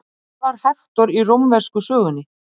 Þar er ullin í forgrunni.